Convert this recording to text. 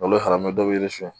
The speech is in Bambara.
N'olu farala dɔ bɛ yirisiyɔn